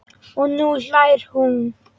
Og nú hlær hún.